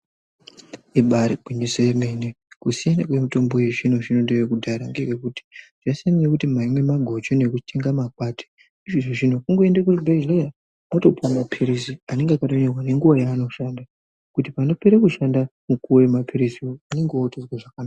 Ibari gwinyiso remene kusiyana kwemitombo yezvino zvno ne yekudyaya ngeye kuti zvasiyana ngekuti maimwa maguchu ne chinga makwati zvineizvi kungoenda kuchibhedhlera wotopiwa mapilizi nenguva yaanoshanda kuti panopera kushanda mukuwo we mapilizi une ge wotozwa zvakanaka.